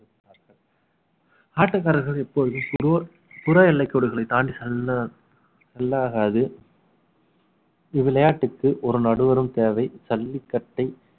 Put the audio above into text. ஆட்டக்காரர்கள் இப்பொழுது சிலோர் புற எல்லை கோடுகளை தாண்டி நல்லா ஆகாது இவ்விளையாட்டுக்கு ஒரு நடுவரும் தேவை சல்லிக்கட்டை